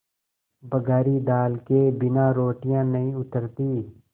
बघारी दाल के बिना रोटियाँ नहीं उतरतीं